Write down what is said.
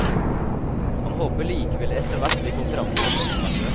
Han håper likevel det etterhvert blir konkurranse på drosjemarkedet.